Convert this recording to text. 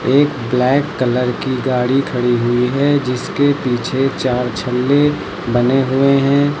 एक black colour की गाड़ी खड़ी हुई है जिसके पीछे चार छल्ले बने हुए हैं।